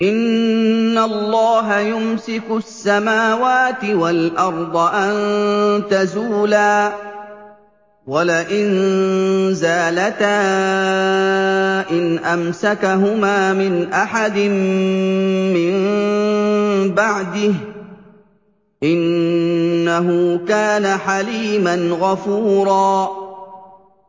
۞ إِنَّ اللَّهَ يُمْسِكُ السَّمَاوَاتِ وَالْأَرْضَ أَن تَزُولَا ۚ وَلَئِن زَالَتَا إِنْ أَمْسَكَهُمَا مِنْ أَحَدٍ مِّن بَعْدِهِ ۚ إِنَّهُ كَانَ حَلِيمًا غَفُورًا